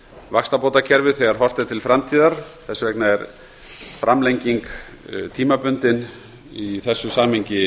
vaxtabótakerfið þegar horft er til framtíðar þess vegna er framlenging tímabundin í þessu samhengi